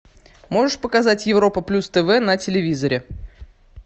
можешь показать европа плюс тв на телевизоре